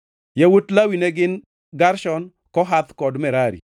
Yawuot Lawi ne gin: Gershon, Kohath kod Merari.